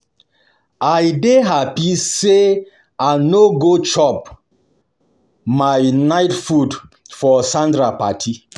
I dey happy say I go chop I go chop my night food for Sandra party